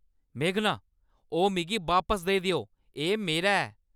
मेघना, ओह् मिगी बापस देई देओ। एह् मेरा ऐ!